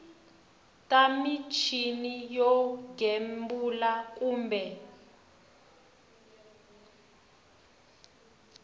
bya muchini wo gembula kumbe